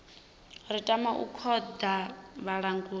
ri tama u khoḓa vhalanguli